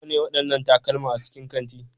Nawa ne waɗannan takalma a cikin kanti?